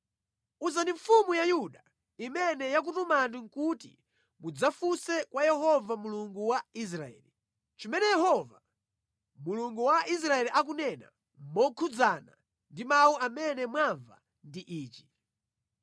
Uzani mfumu ya Yuda imene yakutumani kuti mudzafunse kwa Yehova Mulungu wa Israeli, ‘Chimene Yehova, Mulungu wa Israeli akunena mokhudzana ndi mawu amene mwamva ndi ichi: